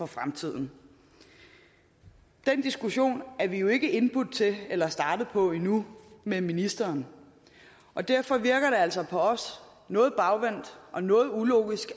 fremtiden den diskussion er vi jo ikke blevet indbudt til eller startet på endnu med ministeren og derfor virker det altså noget bagvendt og noget ulogisk